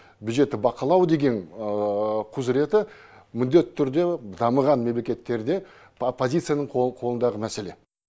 бюджетті бақылау деген құзыреті міндетті түрде дамыған мемлекеттерде оппозицияның қолы қолындағы мәселе